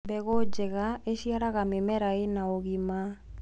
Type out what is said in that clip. mbegũ njega iciaraga mĩmera ina ũgima